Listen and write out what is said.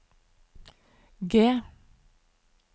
G